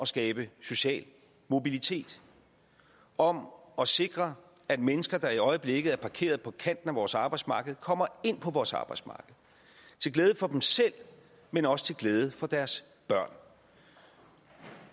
skabe social mobilitet og om at sikre at mennesker der i øjeblikket er parkeret på kanten af vores arbejdsmarked kommer ind på vores arbejdsmarked til glæde for dem selv men også til glæde for deres børn